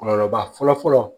Kɔlɔlɔba fɔlɔ fɔlɔ